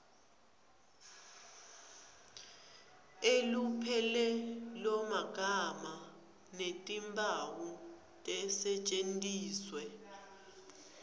elupelomagama netimphawu tisetjentiswe